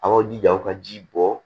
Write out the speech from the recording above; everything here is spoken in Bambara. A y'aw jija o ka ji bɔ